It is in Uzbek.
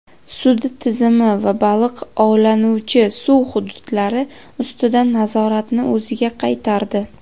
sud tizimi va baliq ovlanuvchi suv hududlari ustidan nazoratni o‘ziga qaytardi.